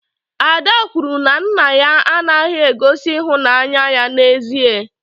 Ada kwuru na nna ya anaghị egosi ịhụnanya ya n'ezie.